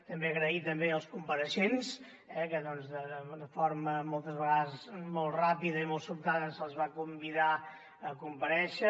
també donar les gràcies als compareixents que doncs de forma moltes vegades molt ràpida i molt sobtada se’ls va convidar a comparèixer